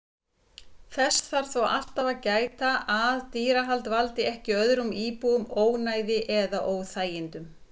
Þess þarf þó alltaf að gæta að dýrahald valdi ekki öðrum íbúum ónæði eða óþægindum.